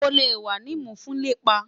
O le wa ni mu fun lepa